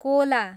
Cola